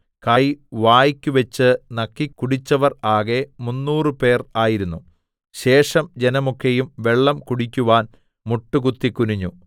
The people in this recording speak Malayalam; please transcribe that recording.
കൈ വായ്ക്കു വെച്ച് നക്കിക്കുടിച്ചവർ ആകെ മുന്നൂറുപേർ ആയിരുന്നു ശേഷം ജനമൊക്കെയും വെള്ളം കുടിക്കുവാൻ മുട്ടുകുത്തി കുനിഞ്ഞു